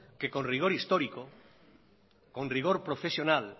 que con rigor histórico con rigor profesional